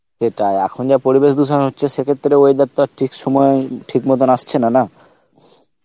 সেটাই এখন যা পরিবেশ ধুসন হচ্ছে সে ক্ষেত্রে weather তো আর ঠিক সময় ঠিক মতন আসছে না, না